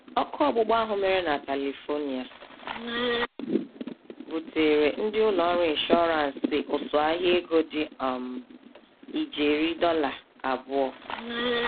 Ọkụ ọgbụgba ahụ mèrè na Califonia buteere ndị ụlọ ọrụ ịnshụransị ụsụ ahịa ego dị um ijeri dollar abụọ